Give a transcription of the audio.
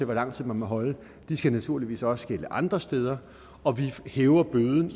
hvor lang tid man må holde naturligvis også skal gælde andre steder og vi hæver bøden